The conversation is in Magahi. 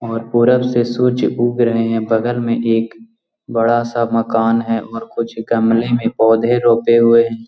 और पूर्व से सूर्य उग रहे हैं और बगल मे एक बड़ा सा मकान है कुछ गमले में पौधे रोपे हुए हैं।